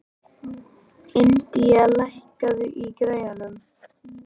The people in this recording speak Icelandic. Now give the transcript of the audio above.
Indía, lækkaðu í græjunum.